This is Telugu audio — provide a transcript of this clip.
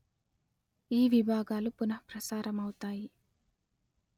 ఈ విభాగాలు పునః ప్రసారము అవుతాయి